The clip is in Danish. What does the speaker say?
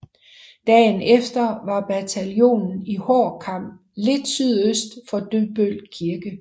Dagen efter var bataljonen i hård kamp lidt sydøst for Dybbøl Kirke